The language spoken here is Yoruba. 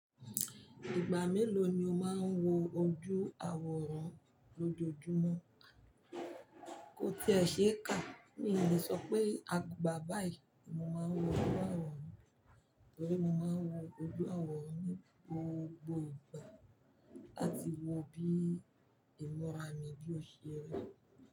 Ìgbà mélòó ni o máa ń wo ojú àwòrán lójoojúmọ́? Kó tí ẹ ṣe é kà, mi ò lè sọ pé àgbà báyìí ni mo máa ń wo ojú àwòrán, torí mo máa ń wo ojú àwòrán ní gbogbo ìgbà àti wo bí ìmúra mi bí ó ṣe rí.